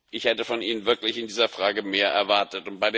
Ich hätte von Ihnen wirklich in dieser Frage mehr erwartet.